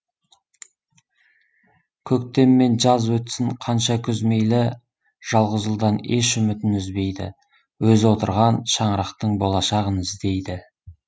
көктем мен жаз өтсін қанша күз мейлі жалғыз ұлдан еш үмітін үзбейді өзі отырған шаңырақтың болашағын іздейді